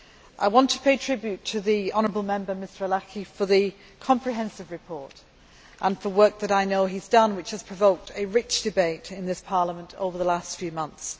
I want to pay tribute to the honourable Member Mr Arlacchi for the comprehensive report and for work that I know he has done which has provoked a rich debate in this Parliament over the last few months.